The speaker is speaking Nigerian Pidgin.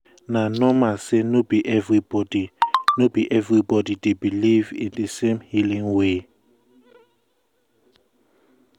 na normal say no be everybody no be everybody dey believe in di same healing way.